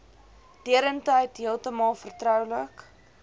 deurentyd heeltemal vertroulik